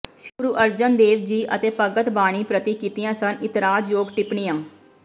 ਸ੍ਰੀ ਗੁਰੂ ਅਰਜਨ ਦੇਵ ਜੀ ਅਤੇ ਭਗਤ ਬਾਣੀ ਪ੍ਰਤੀ ਕੀਤੀਆਂ ਸਨ ਇਤਰਾਜ਼ਯੋਗ ਟਿੱਪਣੀਆਂ